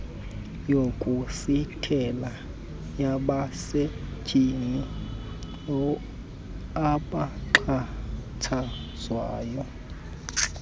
yokusithela yabasetyhini abaxhatshazwayo